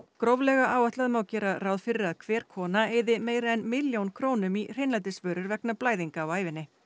gróflega áætlað má gera ráð fyrir að hver kona eyði meira en milljón krónum í hreinlætisvörur vegna blæðinga á ævinni